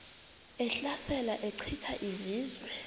ehlasela echitha izizwe